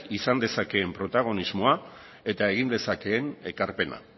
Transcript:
izan dezakeen protagonismoa eta egin dezakeen ekarpena